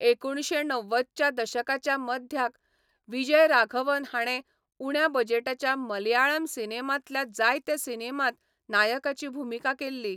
एकुणशे णव्वदच्या दशकाच्या मध्याक विजयराघवन हाणें उण्या बजेटाच्या मलयाळम सिनेमांतल्या जायत्या सिनेमांत नायकाची भुमिका केल्ली.